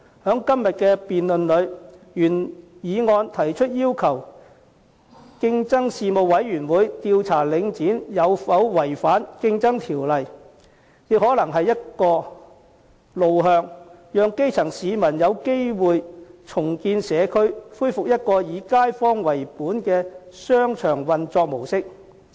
在今天的議案辯論中，原議案提出要求競爭事務委員會調查領展有否違反《競爭條例》，這亦可能是一個路向，讓基層市民有機會重建社區，恢復一個以街坊為本的商場運作模式。